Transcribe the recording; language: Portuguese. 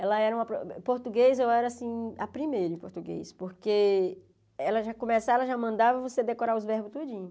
Ela era uma... Português, eu era assim, a primeira em português, porque ela já começava, ela já mandava você decorar os verbos tudinho.